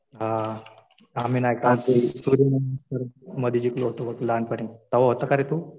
हा. आम्ही नाही का ते सूर्यनमस्कार मध्ये जिंकलो होतो लहानपणी. तेव्हा होता का रे तू?